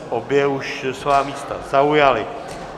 Obě už svá místa zaujaly.